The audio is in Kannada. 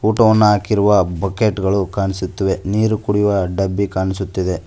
ಊಟವನ್ನು ಹಾಕಿರುವ ಬಕೇಟ್ ಗಳು ಕಾಣಿಸುತ್ತಿವೆ ನೀರು ಕುಡಿಯುವ ಡಬ್ಬಿ ಕಾಣಿಸುತ್ತಿದೆ.